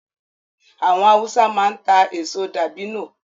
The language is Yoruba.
Àwọn Hausa máa ń ta èso dabino